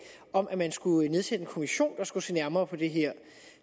om at man skulle nedsætte en kommission der skulle se nærmere på det her